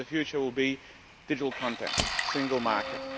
The future will be a digital content single market.